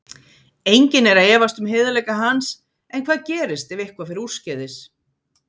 Enginn er að efast um heiðarleika hans en hvað gerist ef eitthvað fer úrskeiðis?